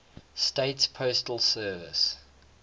states postal service